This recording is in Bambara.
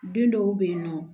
Don dɔw bɛ yen nɔ